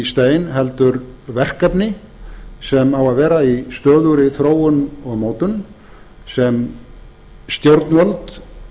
stein heldur verkefni sem á að vera í stöðugri þróun og mótun sem stjórnvöld